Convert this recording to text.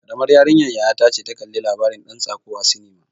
Karamar yarinyar yaya ta ce ta kalla labarin ɗan tsako a sinima.